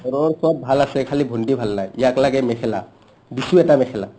ঘৰৰ চব ভাল আছে খালী ভন্টি ভাল নাই ইয়াক লাগে মেখেলা দিছো এটা মেখেলা